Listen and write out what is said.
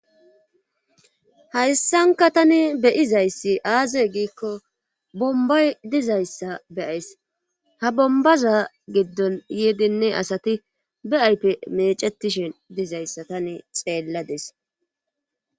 Hayssanka tani beyizayssi aaze giikko bombay dizayssa beyays ha bombaza giddon yeedinne asati be7aype mecetishen dizayssa tani xeellades.